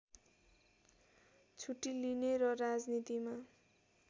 छुट्टी लिने र राजनीतिमा